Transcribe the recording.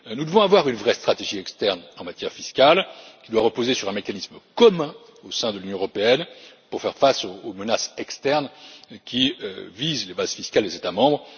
Nous devons avoir une vraie stratégie externe en matière fiscale, qui doit reposer sur un mécanisme commun au sein de l'Union européenne, pour faire face aux menaces externes qui visent les bases fiscales des États membres.